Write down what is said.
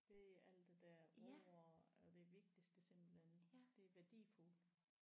Det er alt det der ord er det vigtigste simpelthen det er værdifuldt